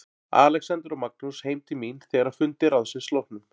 Alexander og Magnús heim til mín þegar að fundi ráðsins loknum.